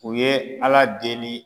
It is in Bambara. U ye Ala deli